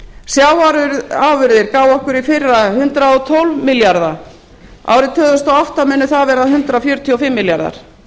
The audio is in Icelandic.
sjávarafurðir gáfu okkur í fyrra hundrað og tólf milljarða árið tvö þúsund og átta munu það verða hundrað fjörutíu og fimm milljarðar